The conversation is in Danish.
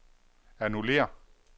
annullér